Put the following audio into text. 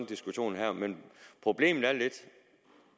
diskussion her men problemet er lidt